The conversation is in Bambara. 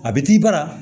A bɛ t'i bara